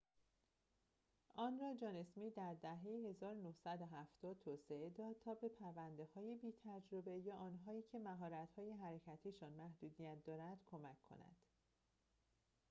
آن را جان اسمیت در دهه ۱۹۷۰ توسعه داد تا به پرونده‌های بی‌تجربه یا آنهایی که مهارت‌های حرکتی‌شان محدودیت دارد کمک کند